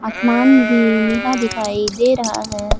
आसमान भी नीला दिखाई दे रहा है।